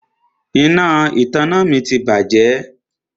Iná ìtanná mi ti bàjẹ́.